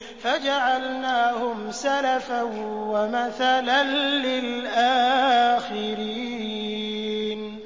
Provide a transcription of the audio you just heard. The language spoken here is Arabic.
فَجَعَلْنَاهُمْ سَلَفًا وَمَثَلًا لِّلْآخِرِينَ